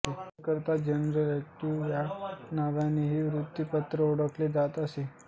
Calcutta General Advertiser या नावानेही हे वृत्तपत्र ओळखले जात असे